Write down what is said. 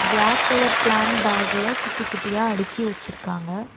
Black colour plant பேக்குல குட்டி குட்டியா அடுக்கி வச்சிருக்காங்க.